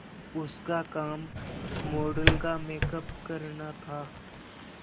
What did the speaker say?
उसका काम मॉडल का मेकअप करना था